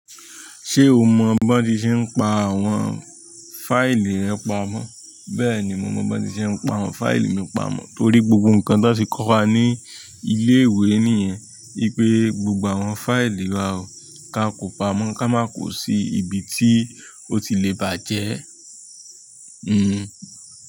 Ṣé o mọ bón tí ṣe ń pa àwọn fáìlì rẹ pamọ́? Bẹ́ẹ̀ ni mo mọ bón tí ṣe ń pa àwọn fáìlì mi pamọ́, torí gbogbo nǹkan tó ti kọ́ wa ní ilé ìwé nìyẹn wípé gbogbo àwọn fáìlì wa o, kí á kò pamọ́ ká máa kò sí ibi tí ó ti le bàjẹ́. Hmm.